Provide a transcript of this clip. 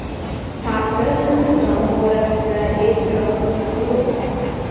Tartib-intizom borasida e’tirozim yo‘q.